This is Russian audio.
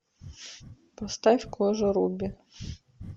поставь кожа руби